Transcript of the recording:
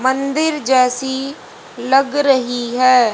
मंदिर जैसी लग रही है।